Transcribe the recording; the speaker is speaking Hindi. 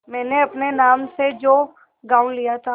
मैंने अपने नाम से जो गॉँव लिया था